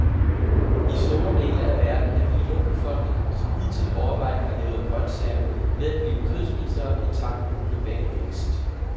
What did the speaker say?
I store dele af verden er millionbefolkninger, som hidtil overvejende har levet af grønsager, ved at blive kødspisere i takt med den globale vækst.